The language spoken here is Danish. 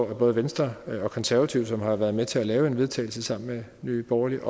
med både venstre og konservative som har været med til at lave et vedtagelse sammen med nye borgerlige